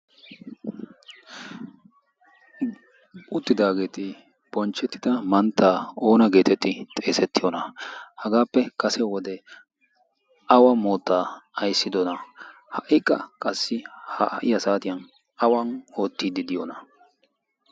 Uttidaageeti bonchchetida mantta oona getettidi xeessetiyoona/ kase wode awa mootta ayssidoona? ha q ha saatiyaa awan oottide diyoona?